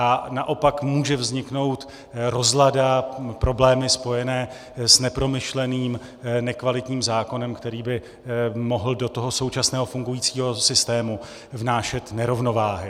A naopak může vzniknout rozlada, problémy spojené s nepromyšleným nekvalitním zákonem, který by mohl do toho současného fungujícího systému vnášet nerovnováhy.